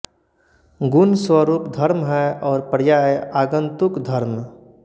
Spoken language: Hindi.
गुण स्वरूप धर्म है और पर्याय आगन्तुक धर्म